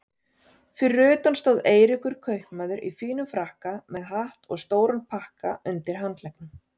Fyrir utan stóð Eiríkur kaupmaður í fínum frakka með hatt og stóran pakka undir handleggnum.